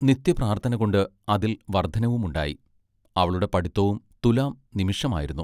നിത്യപ്രാർത്ഥനകൊണ്ട് അതിൽ വർദ്ധനവും ഉണ്ടായി. അവളുടെ പഠിത്വവും തുലോം നിമിഷമായിരുന്നു.